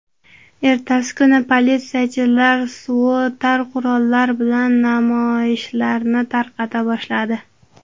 Ertasi kuni politsiyachilar suvotar qurollar bilan namoyishlarni tarqata boshladi.